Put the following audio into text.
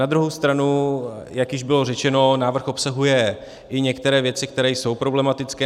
Na druhou stranu, jak již bylo řečeno, návrh obsahuje i některé věci, které jsou problematické.